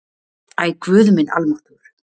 Æ, guð minn almáttugur